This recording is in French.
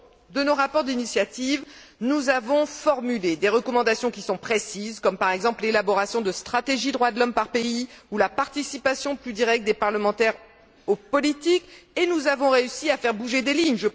Dans nos rapports d'initiative successifs, nous avons formulé des recommandations précises comme l'élaboration de stratégies droits de l'homme par pays ou la participation plus directe des parlementaires aux politiques, et nous avons réussi à faire bouger des lignes.